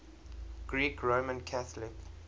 greek roman catholic